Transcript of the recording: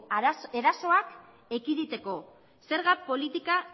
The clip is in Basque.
erasoak ekiditeko zerga politika